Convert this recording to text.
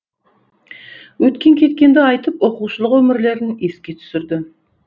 өткен кеткенді айтып оқушылық өмірлерін еске түсірді